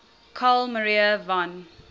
carl maria von